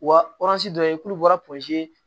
Wa dɔ ye k'olu bɔra